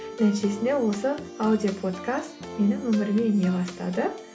нәтижесінде осы аудиоподкаст менің өміріме ене бастады